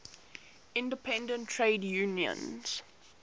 independent trade unions